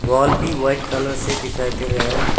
Wall भी white colour से दिखाई दे रहा है।